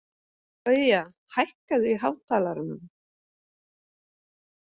Gauja, hækkaðu í hátalaranum.